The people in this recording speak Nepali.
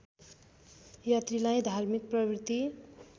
यात्रीलाई धार्मिक प्रवृत्ति